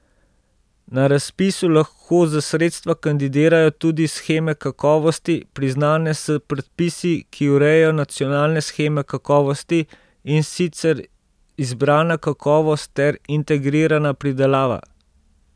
Na razpisu lahko za sredstva kandidirajo tudi sheme kakovosti, priznane s predpisi, ki urejajo nacionalne sheme kakovosti, in sicer izbrana kakovost ter integrirana pridelava.